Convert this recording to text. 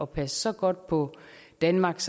passe så godt på danmark